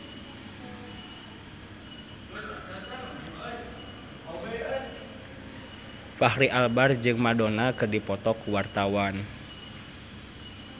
Fachri Albar jeung Madonna keur dipoto ku wartawan